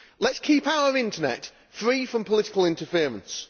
Let us keep our internet free from political interference.